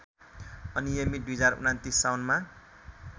अनियमित २०२९ साउनमा